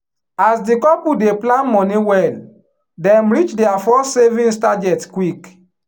as the couple dey plan money well dem reach their first savings target quick.